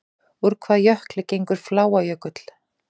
Úr hvaða jökli gengur Fláajökull?